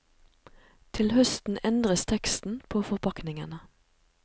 Til høsten endres teksten på forpakningene.